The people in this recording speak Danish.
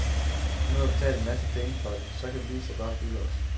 Nu har vi betalt en masse penge for det, så kan vi også lige så godt hygge os.